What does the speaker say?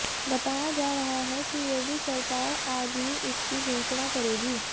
बताया जा रहा है कि योगी सरकार आज ही इसकी घोषणा करेगी